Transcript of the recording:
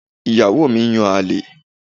Ìyàwó mi ń yan àlè.